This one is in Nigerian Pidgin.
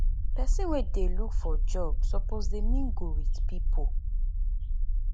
pesin wey dey look for job suppose dey mingle with pipo